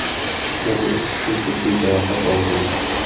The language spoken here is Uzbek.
Yana uch kishi jiddiy jarohat olgan.